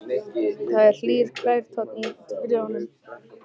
Það er hlýr gælutónn í bréfunum.